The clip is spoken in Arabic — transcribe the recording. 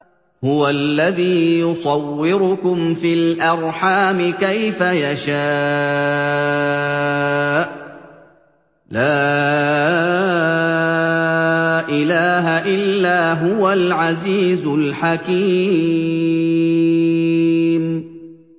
هُوَ الَّذِي يُصَوِّرُكُمْ فِي الْأَرْحَامِ كَيْفَ يَشَاءُ ۚ لَا إِلَٰهَ إِلَّا هُوَ الْعَزِيزُ الْحَكِيمُ